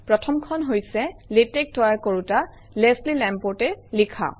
প্ৰথমখন হৈছে - লেটেক্স তৈয়াৰ কৰোঁতা লেছলি Lamport এ লিখা